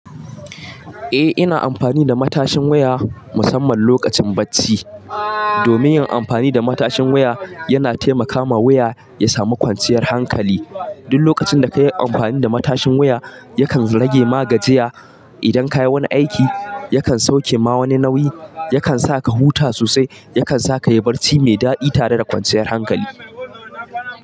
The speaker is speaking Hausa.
Eh, ina amfani da matashin waya musamman lokacin bacci. Domin yin amfani da matashin waya yana taimakawa waya ya samu kwanciyar hankali. Duk lokacin da ka yi amfani da matashin waya, yakan rage magajiya. Idan ka yi wani aiki, yakan sauke ma wani nauyi, yakan sa ka huta sosai, yakan sa ka yi barci mai daɗi tare da kwanciyar hankali.